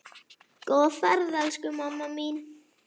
Góða ferð, elsku mamma mín.